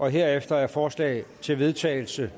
herefter er forslag til vedtagelse